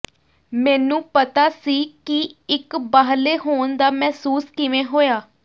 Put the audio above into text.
ਮੈਨੂੰ ਪਤਾ ਸੀ ਕਿ ਇੱਕ ਬਾਹਰਲੇ ਹੋਣ ਦਾ ਮਹਿਸੂਸ ਕਿਵੇਂ ਹੋਇਆ